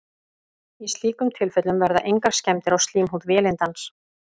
í slíkum tilfellum verða engar skemmdir á slímhúð vélindans